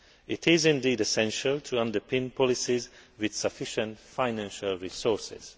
way. It is essential to underpin policies with sufficient financial resources.